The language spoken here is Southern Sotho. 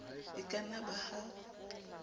e ka na ba ha